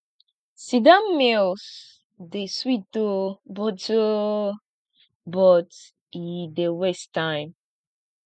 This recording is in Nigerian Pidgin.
sitdown meals dey sweet o but o but e dey waste time